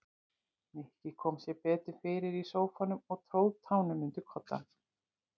Nikki kom sér betur fyrir í sófanum og tróð tánum undir koddann.